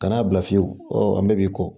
Ka n'a bila fiyewu ɔ an bɛɛ b'i kɔ